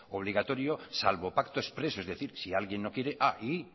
obligatorio salvo pacto expreso es decir si alguien no quiere y